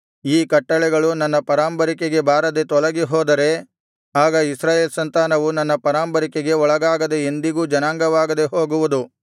ಈ ಕಟ್ಟಳೆಗಳು ನನ್ನ ಪರಾಂಬರಿಕೆಗೆ ಬಾರದೆ ತೊಲಗಿ ಹೋದರೆ ಆಗ ಇಸ್ರಾಯೇಲ್ ಸಂತಾನವು ನನ್ನ ಪರಾಂಬರಿಕೆಗೆ ಒಳಗಾಗದೆ ಎಂದಿಗೂ ಜನಾಂಗವಾಗದೆ ಹೋಗುವುದು